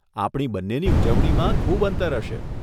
આપણી બંનેની ઉજવણીમાં ખૂબ અંતર હશે.